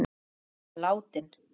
Faðir minn er látinn.